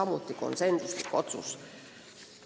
Kõik otsused langetati konsensusega.